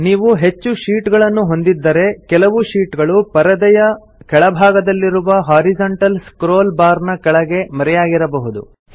ನೀವು ಹೆಚ್ಚು ಶೀಟ್ ಗಳನ್ನು ಹೊಂದಿದ್ದರೆ ಕೆಲವು ಶೀಟ್ ಗಳು ಪರದೆಯ ಕೆಳಭಾಗದಲ್ಲಿರುವ ಹಾರಿಜೊಂಟಲ್ ಸ್ಕ್ರೋಲ್ ಬಾರ್ ನ ಹಿಂದೆ ಮರೆಯಾಗಿರಬಹುದು